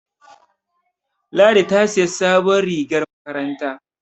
Ladi ta siyi sabuwar rigar makaranta